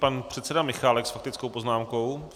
Pan předseda Michálek s faktickou poznámkou.